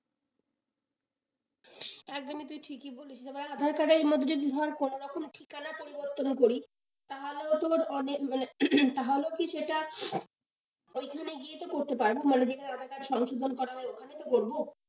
একদমই তুই ঠিকই বলেছিস এবারে আধার কার্ডের মধ্যে ধর কোনরকম ঠিকানা পরিবর্তন করি তাহলেও তোর অনেক মানে, তাহলেও কি সেটা, ওইখানে গিয়ে তো করতে পারব, মানে যেখানে aadhaar card সংশোধন করা হয় ওখানেই তো করবো?